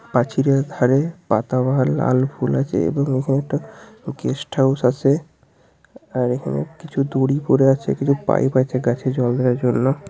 প্রাচীরের ধারেপাতাবাহার লাল ফুল আছে এবং এখানে একটা গেস্ট হাউস আছে আর এখানে কিছু দড়ি পরে আছে কিছু পাইব পরে আছে গাছে জল দেওয়ার জন্য ।